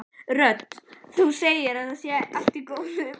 Rödd: Þú segir að það sé allt í góðu?